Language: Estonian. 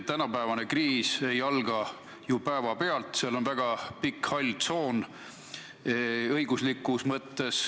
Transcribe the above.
Tänapäevane kriis ei alga ju päevapealt, õiguslikus mõttes on tegemist väga laia halli tsooniga.